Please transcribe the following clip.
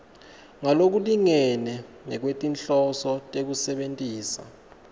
ngalokulingene ngekwetinhloso tekusebentisa